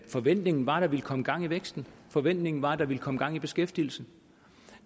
forventningen var at der ville komme gang i væksten forventningen var at der ville komme gang i beskæftigelsen